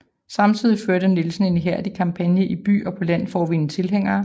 Samtidig førte Nielsen en ihærdig kampagne i by og på land for at vinde tilhængere